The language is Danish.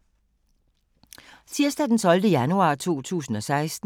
Tirsdag d. 12. januar 2016